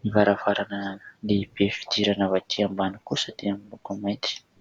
ny varavarana lehibe fidirana avy atỳ ambany kosa dia miloko mainty.